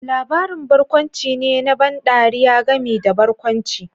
Labarin barkwanci ne na ban ɗariya gami da barkwanci